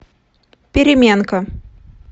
переменка